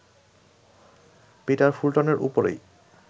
Peter ফুলটনের উপরই